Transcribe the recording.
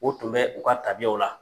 O tun bɛ u ka tabiyaw la.